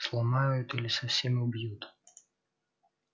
сломают или совсем убьют